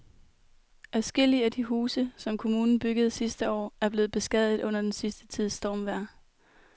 Adskillige af de huse, som kommunen byggede sidste år, er blevet beskadiget under den sidste tids stormvejr.